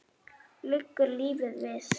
Liggur lífið við?